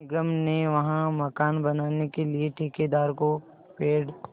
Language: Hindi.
निगम ने वहाँ मकान बनाने के लिए ठेकेदार को पेड़